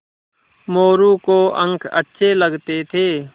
मोरू को अंक अच्छे लगते थे